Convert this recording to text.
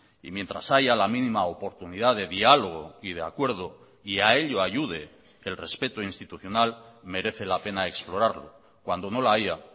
y mientras haya la mínima oportunidad de diálogo y de acuerdo y a ello ayude el respeto institucional merece la pena explorarlo cuando no la haya